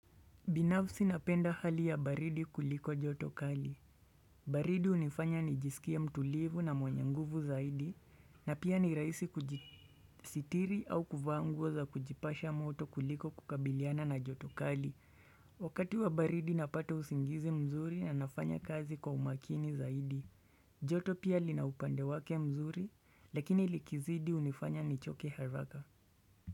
Binafsi napenda hali ya baridi kuliko joto kali. Baridi hunifanya nijisikie mtulivu na mwenye nguvu zaidi, na pia ni rahisi kujisitiri au kuvaa nguo za kujipasha moto kuliko kukabiliana na joto kali. Wakati wa baridi napata usingizi mzuri na nafanya kazi kwa umakini zaidi. Joto pia lina upande wake mzuri, lakini likizidi hunifanya nichoke haraka.